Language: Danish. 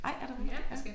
Ej er det rigtigt? Ja